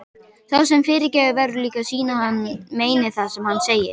Sá sem fyrirgefur verður líka að sýna að hann meini það sem hann segir.